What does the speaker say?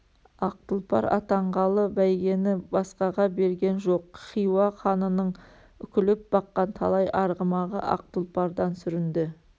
ақ тұлпар атанғалы бәйгені басқаға берген жоқ хиуа ханының үкілеп баққан талай арғымағы ақ тұлпардан сүрінді